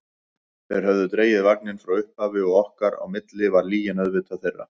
Þeir höfðu dregið vagninn frá upphafi og okkar á milli var lygin auðvitað þeirra.